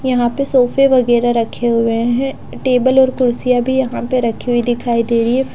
यहाँं पे सोफ़े वैगरह रखे हुए है टेबल और कुर्सियाँं यहाँं पे रखी हुई दिखाई दे रही हैं।